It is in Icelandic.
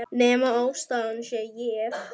Nema ástæðan sé ég.